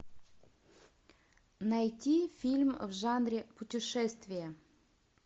найти фильм в жанре путешествия